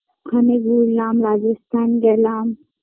ওখানে ঘুরলাম রাজস্থান গেলাম